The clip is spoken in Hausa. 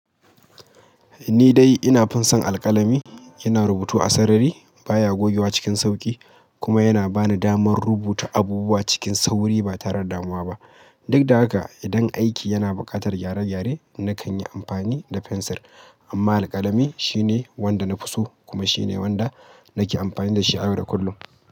Ni dai ina fin son alƙalami. Yana rubutu a sarari, baya gogewa cikin sauƙi, kuma yana bani damar rubuta abubuwa cikin sauri ba tare da damuwa ba. Duk da haka, idan aiki yana buƙatar gyare-gyare, nakan yi amfani da fensir. Amma alƙalami shine wanda na fi so kuma shine wanda nake amfani da shi a yau da kullum.